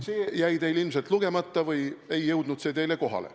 See jäi teil ilmselt lugemata või ei jõudnud see teile kohale.